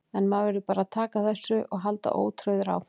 En maður verður bara að taka þessu og halda ótrauður áfram.